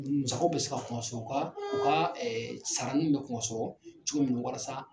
Musakɛ be se ka kungo sɔrɔ ka sarain bɛ kungo sɔrɔ cogo min walasa